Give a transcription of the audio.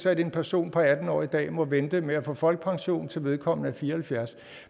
at en person på atten år i dag må vente med at få folkepension til vedkommende er fire og halvfjerds år